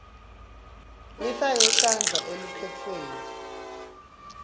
lifake sandla elukhetfweni